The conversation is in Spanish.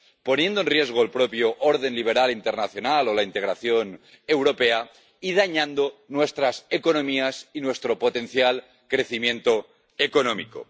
poniendo en riesgo el propio orden liberal internacional o la integración europea y dañando nuestras economías y nuestro potencial crecimiento económico.